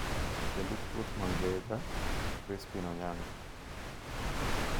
Jalup ruoth ma Genga, Crispin Onyango,